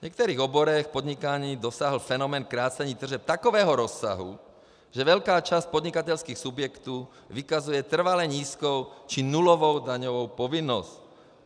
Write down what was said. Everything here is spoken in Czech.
V některých oborech podnikání dosáhl fenomén krácení tržeb takového rozsahu, že velká část podnikatelských subjektů vykazuje trvale nízkou či nulovou daňovou povinnost.